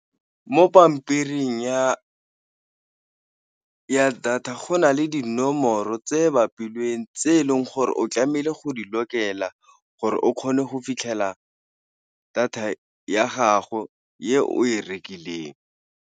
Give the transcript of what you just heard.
Mo pampiring ya data, go na le dinomoro tse bapilweng, tse eleng gore o tlamehile go di lokela gore o kgone go fitlhela data ya gago e o e rekileng.